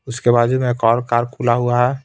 उसके बाजू में एक और कार खुला हुआ है.